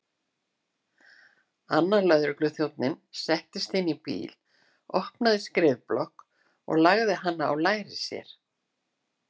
Annar lögregluþjónninn settist inn í bíl, opnaði skrifblokk og lagði hana á lær sér.